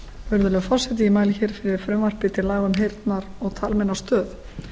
virðulegi forseti ég mæli fyrir frumvarpi til laga um heyrnar og talmeinastöð